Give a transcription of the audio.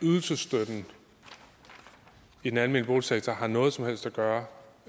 at ydelsesstøtten i den almene boligsektor har noget som helst at gøre